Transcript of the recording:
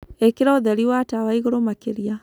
Ĩkĩra ũthēri wa tawa ĩgũrũ makĩrĩa